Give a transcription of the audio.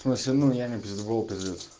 но все равно я не пиздаболк